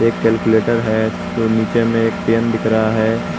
Calculator है नीचे में एक पेन दिख रहा है।